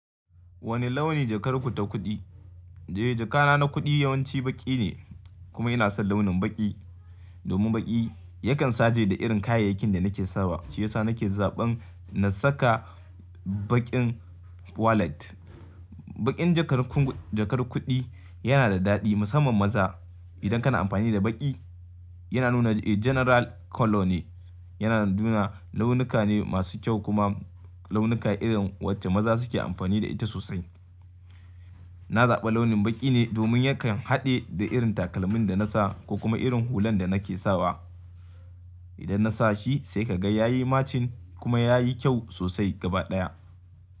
Wane launi jakar ku ta kuɗi? Eee, jaka na na kuɗi yawanci baƙi ne kuma ina son launin baƙi. Domin baƙi yakan saje da irin kayayyakin da nake sawa. Shi yasa nake zaɓan na saka baƙin wallet. Baƙin jakar kunku-- jakar kuɗi yana da daɗi musamman maza idan kana amfani da baƙi yana nuna, eee, general color ne. Yana nuna launuka ne masu kyau kuma launuka irin wacce maza suke amfani da ita sosai. Na zaɓa launin baƙi ne domin yakan haɗe da irin takalmin da na sa ko kuma irin hulan da nake sawa. Idan na sa shi sai ka ga ya yi matching kuma ya yi kyau sosai gaba ɗaya.